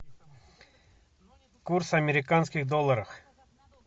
курс американских долларах